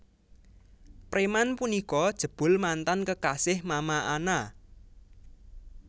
Preman punika jebul mantan kekasih Mama Ana